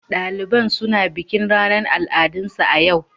Daliban suna bikin ranar al'adunsu a yau.